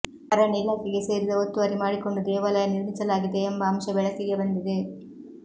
ಅರಣ್ಯ ಇಲಾಖೆಗೆ ಸೇರಿದ ಒತ್ತುವರಿ ಮಾಡಿಕೊಂಡು ದೇವಾಲಯ ನಿರ್ಮಿಸಲಾಗಿದೆ ಎಂಬ ಅಂಶ ಬೆಳಕಿಗೆ ಬಂದಿದೆ